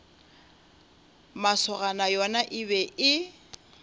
masogana yona e be e